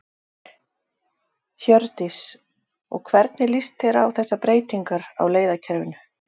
Hjördís: Og hvernig líst þér á þessar breytingar á leiðakerfinu?